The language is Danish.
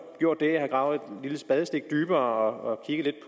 gjort det at jeg har gravet et lille spadestik dybere